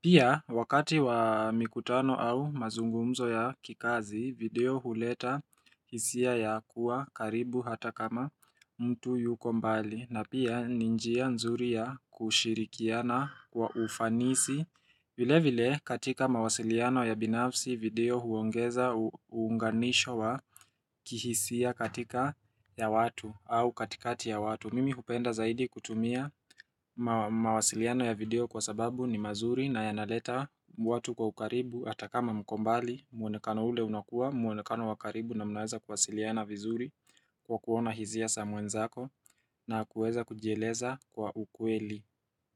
Pia wakati wa mikutano au mazungumzo ya kikazi, video huleta hisia ya kuwa karibu hata kama mtu yuko mbali. Na pia ninjia nzuri ya kushirikiana kwa ufanisi vile vile katika mawasiliano ya binafsi video huongeza uunganisho wa kihisia katika ya watu au katikati ya watu Mimi hupenda zaidi kutumia mawasiliano ya video kwa sababu ni mazuri na yanaleta watu kwa ukaribu Atakama mkombali, mwonekano ule unakua, mwonekano wakaribu na mnaweza kwasiliana vizuri kwa kuona hizia samwenzako na kuweza kujieleza kwa ukweli.